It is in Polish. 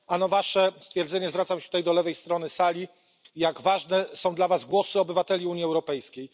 Ano Wasze stwierdzenie zwracam się tutaj do lewej strony sali jak ważne są dla Was głosy obywateli Unii Europejskiej.